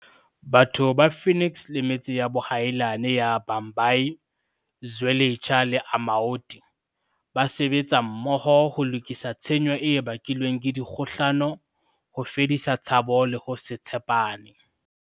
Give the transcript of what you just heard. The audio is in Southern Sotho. Batho ba Phoenix le metse ya boahelani ya Bhambayi, Zwe litsha le Amaoti ba sebetsa mmoho ho lokisa tshenyo e bakilweng ke dikgohlano, ho fedisa tshabo le ho se tshe pane.